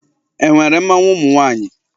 E nwere mmanwụ ụmụ nwaanyị?